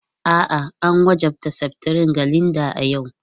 A'a, an wajabta seftirin ga Linda a yau.